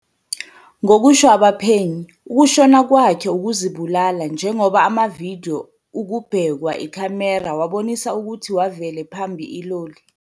Ngokusho abaphenyi, ukushona kwakhe ukuzibulala njengoba amavidyo ukubhekwa ikhamera wabonisa ukuthi wavele phambi iloli.